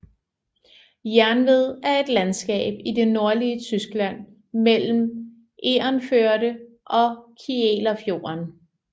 Jernved er et landskab i det nordlige Tyskland mellem Egernførde og Kielerfjorden